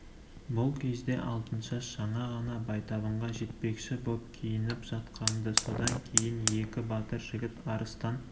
бұл кезде алтыншаш жаңа ғана байтабынға жетпекші боп киініп жатқан-ды содан кейін екі батыр жігіт арыстан